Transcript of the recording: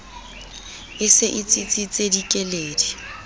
e se e tsitsitse dikeledi